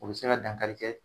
O bi se ka dankari kɛ